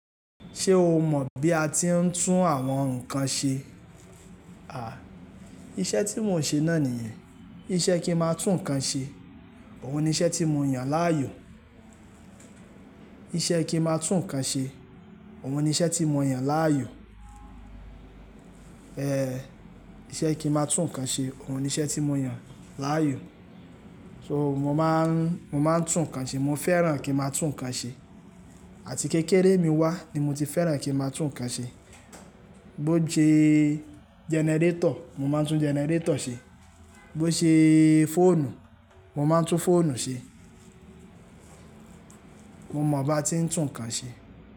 Ṣe o mọ bi a ti ń tún àwọn nkan ṣe? À, iṣẹ tí mò ń ṣe náà nìyẹn. Iṣẹ ki má tún nkan ṣe, òun ni iṣẹ tí mo yàn láàyò. Iṣẹ ki má tún nkan ṣe, òun ni iṣẹ tí mo yàn láàyò. Ehn, iṣẹ ki má tún nkan ṣe, òun ni iṣẹ tí mo yàn láàyò. So mo máa n tún nkan ṣe, mo fẹ́ràn kí n má tún nkan ṣe. Àti kékeré mi wá ni mo ti fẹ́ràn kí n má tún nkan ṣe. Bo se gẹnẹrétọ̀, mo máa tún gẹnẹrétọ̀ ṣe. Bo se fóònù, mo máa tún fóònù ṣe. Mo mọ bi a ti ń tún nkan ṣe.